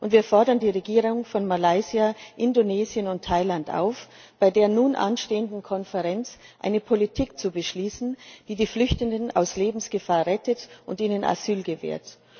Wir fordern die Regierungen von Malaysia, Indonesien und Thailand auf, bei der nun anstehenden Konferenz eine Politik zu beschließen, die die Flüchtenden aus Lebensgefahr rettet und ihnen Asyl gewährt.